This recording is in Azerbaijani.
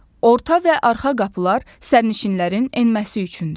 Orta və arxa qapılar sərnişinlərin enməsi üçündür.